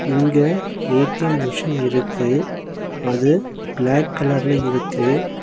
இங்க A T M machine இருக்கு அது பிளாக் கலர்ல இருக்கு.